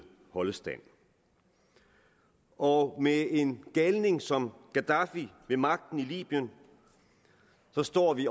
holde stand og med en galning som gaddafi ved magten i libyen står vi